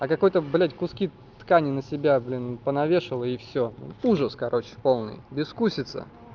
а какой-то блять куски ткани на себя блин понавешали и всё ужас короче полный безвкусица